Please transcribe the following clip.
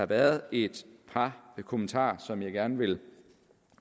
været et par kommentarer som jeg gerne vil